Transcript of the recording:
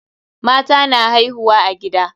Mata na haihuwa a gida.